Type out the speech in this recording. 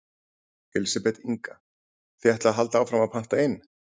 Elísabet Inga: Þið ætlið að halda áfram að panta inn?